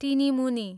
टिनिमुनी